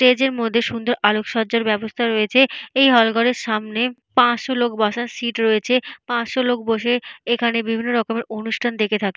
স্টেজের মধ্যে সুন্দর আলোকসজ্জা ব্যবস্থা রয়েছে। এই হল ঘরের সামনে পাঁচশো লোক বাসার সিট রয়েছে। পাঁচশো লোক বসে এখানে বিভিন্ন রকমের অনুষ্ঠান দেখে থাকে।